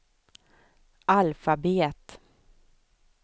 alfabet